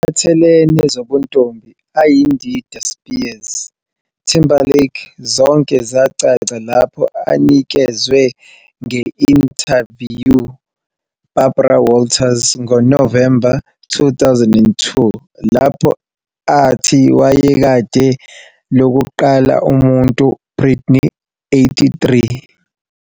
Ngokuphathelene zobuntombi Ayindida Spears, Timberlake zonke zacaca lapho anikezwe nge-intaviyu Barbara Walters ngo-November 2002, lapho athi wayekade lokuqala umuntu Britney.83